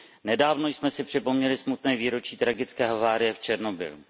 Nedávno jsme si připomněli smutné výročí tragické havárie v Černobylu.